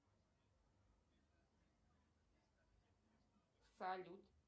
салют